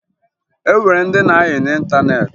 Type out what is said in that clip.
O nwere ndị na-ayị n'ịntaneetị